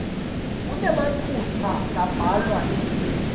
kunemaphutsa lambalwa elulwimi